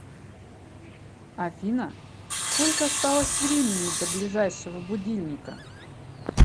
афина сколько осталось времени до ближайшего будильника